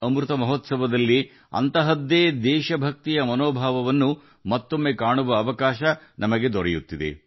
ಅಮೃತ ಮಹೋತ್ಸವದಲ್ಲಿ ನಾವು ಮತ್ತೆ ಅದೇ ದೇಶಭಕ್ತಿಯ ಮನೋಭಾವವನ್ನು ನೋಡುತ್ತಿದ್ದೇವೆ